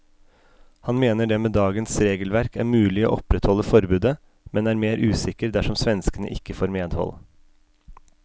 Han mener det med dagens regelverk er mulig å opprettholde forbudet, men er mer usikker dersom svenskene ikke får medhold.